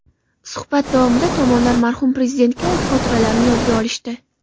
Suhbat davomida tomonlar marhum Prezidentga oid xotiralarni yodga olishdi.